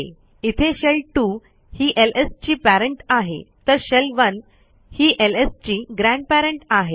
इथे शेल2 ही एलएस ची parentआहे तर शेल1 ही एलएस ची ग्रँडपेरंट आहे